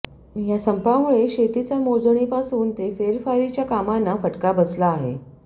या संपामुळे शेतीच्या मोजणीपासून ते फेरफारीच्या कामांना फटका बसला आहे